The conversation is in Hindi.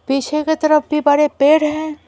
पीछे की तरफ भी बड़े पेड़ हैं।